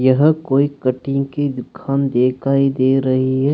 यह कोई कटिंग की दुकान दिखाई दे रही है।